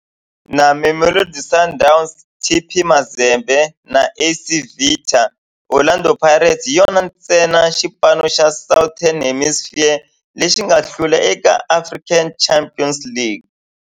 Na Mamelodi Sundowns, TP Mazembe na AS Vita, Orlando Pirates hi yona ntsena xipano xa Southern Hemisphere lexi nga hlula eka African Champions League.